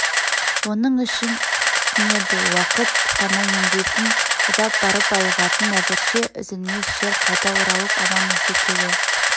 оның ішін түснеді уақыт қана емдейтін ұзап барып айығатын әзірше үзлмес шер қайта оралып аман-есен келе